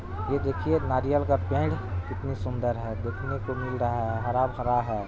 ये देखिए नारियल का पेड़ कितनी सुंदर है देखने को मिल रहा है हरा-भरा है।